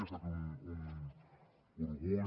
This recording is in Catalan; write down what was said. ha estat un orgull